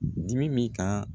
Dimi bi kan